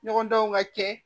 Ɲɔgɔndanw ka kɛ